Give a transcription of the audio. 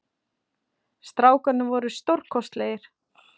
Strákarnir voru stórkostlegir